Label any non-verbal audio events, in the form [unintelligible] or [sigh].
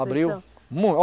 Abriu. [unintelligible]